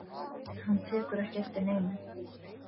Hann tekur ekki eftir neinu.